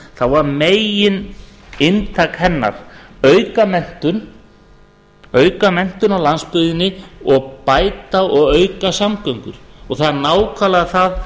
þá var megininntak hennar að auka menntun á landsbyggðinni og bæta og auka samgöngur það er nákvæmlega það